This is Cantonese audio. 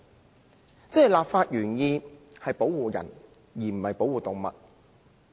換言之，立法原意是保護人，而不是保護動物。